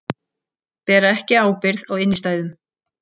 Bera ekki ábyrgð á innstæðum